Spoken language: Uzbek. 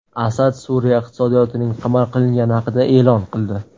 Asad Suriya iqtisodiyotining qamal qilingani haqida e’lon qildi.